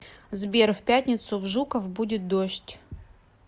сбер в пятницу в жуков будет дождь